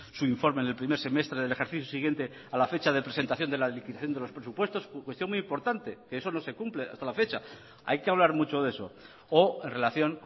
su informe en el primer semestre del ejercicio siguiente a la fecha de presentación de la liquidación de los presupuestos cuestión muy importante que eso no se cumple hasta la fecha hay que hablar mucho de eso o en relación